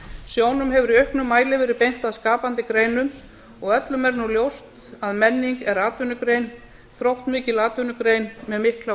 sjónum hefur í auknum mæli verið beint að skapandi greinum og öllum er nú ljóst að menning er atvinnugrein þróttmikil atvinnugrein með mikla